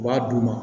U b'a d'u ma